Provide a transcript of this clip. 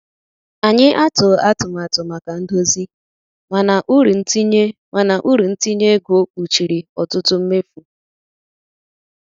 Anyị atụghị atụmatụ maka ndozi, mana uru ntinye mana uru ntinye ego kpuchiri ọtụtụ mmefu.